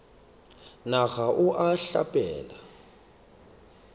na ga o a hlapela